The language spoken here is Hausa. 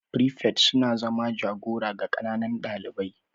frifets suna zama jagora ga ƙananan ɗalibai.